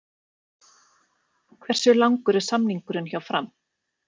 Hversu langur er samningurinn hjá Fram?